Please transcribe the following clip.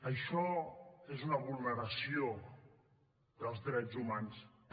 això és una vulneració dels drets humans també